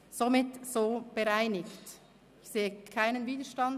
Ist das somit bereinigt?